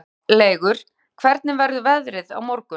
Háleygur, hvernig verður veðrið á morgun?